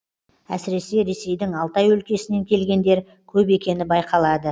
әсіресе ресейдің алтай өлкесінен келгендер көп екені байқалады